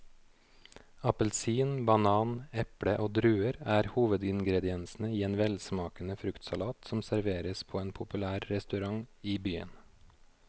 Appelsin, banan, eple og druer er hovedingredienser i en velsmakende fruktsalat som serveres på en populær restaurant i byen.